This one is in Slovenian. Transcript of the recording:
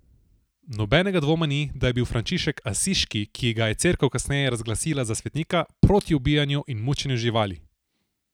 Nobenega dvoma ni, da je bil Frančišek Asiški, ki ga je Cerkev kasneje razglasila za svetnika, proti ubijanju in mučenju živali.